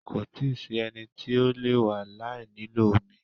Kò tíì sí ẹni tí ó le e wà láì nílò omi.